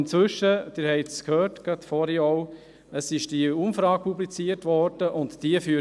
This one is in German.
Inzwischen wurde diese Umfrage publiziert, wie Sie gehört haben.